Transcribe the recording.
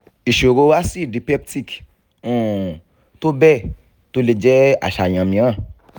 ìṣòro acid peptic um tó bẹ́ẹ̀ tó le jẹ́ aṣàyàn mìíràn